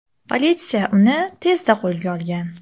Politsiya uni tezda qo‘lga olgan.